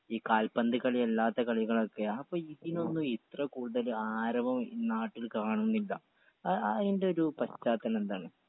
ഈ കാൽപന്ത് കളിയല്ലാത്ത കളികളൊക്കെ അപ്പൊ ഇതിനൊന്നും ഇത്ര കൂടുതൽ ആരവം ഈ നാട്ടിൽ കാണുന്നില്ല ആ അയിന്റൊരു പശ്ചാത്തലം എന്താണ്